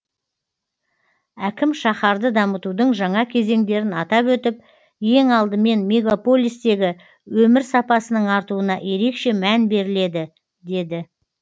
әкім шаһарды дамытудың жаңа кезеңдерін атап өтіп ең алдымен мегаполистегі өмір сапасының артуына ерекше мән беріледі деді